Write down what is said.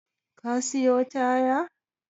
Ka siyo taya?